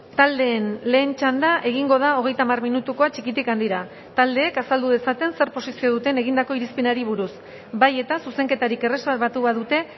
taldeen lehen txanda egingo da hogeita hamar minutukoa txikitik handira taldeek azaldu dezaten zer posizio duten egindako irizpenari buruz bai eta zuzenketarik erreserbatu badute